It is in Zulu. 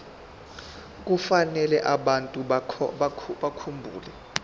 kufanele abantu bakhumbule